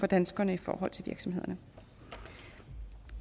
danskerne i forhold til virksomhederne